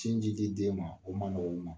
Sinji di dien ma , o man nɔgɔ olu ma.